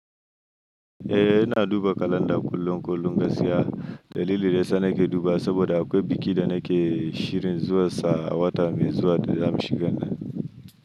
Eh, ina duba kalanda kullum kullum gaskiya. Dalilin da ya sa nake dubawa saboda akwai biki da nake shirin zuwansa awata mai zuwa da za mu shiga nan.